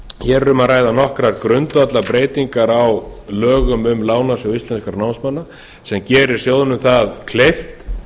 hér er um að ræða nokkrar grundvallarbreytingar á lögum um lánasjóð íslenskra námsmanna sem gerir sjóðnum það kleift